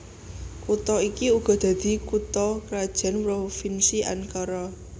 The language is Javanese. Kutha iki uga dadi kutha krajan Provinsi Ankara